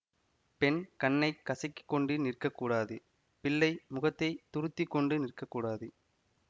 பெண் கண்ணைக் கசக்கி கொண்டு நிற்கக்கூடாது பிள்ளை முகத்தை துருத்திக்கொண்டு நிற்க கூடாது